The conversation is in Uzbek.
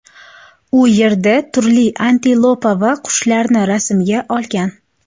U yerda turli antilopa va qushlarni rasmga olgan.